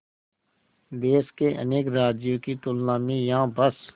देश के अनेक राज्यों की तुलना में यहाँ बस